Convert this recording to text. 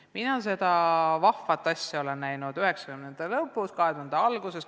Mina olen seda vahvat asja näinud 1990-ndate lõpus ja 2000-ndate alguses.